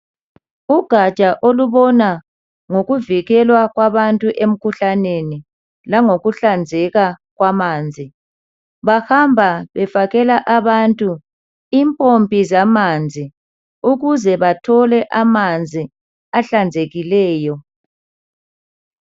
Ugatsha olubona ngokuvikelwa kwabantu emkhuhlaneni langokuhlanzeka kwamanzi bahamba befakela abantu impompi zamanzi ukuze bathole amanzi ahlanzekileyo.